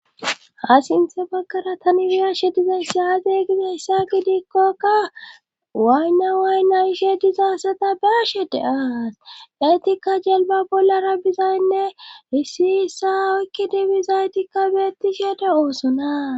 Ha sinthe baggara taniriyashe diza yissaazeygida issa gidikkokka waaynna waaynna ishe dizasata baashede aas daytikka jelba bollara bizaynne hissi issa oykki dibizaytikka beetti shede oosona.